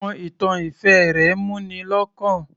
Àwọn ìtàn ìfẹ́ rẹ̀ mú ni lọ́kàn